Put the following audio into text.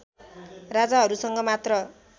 राजाहरूसँग मात्र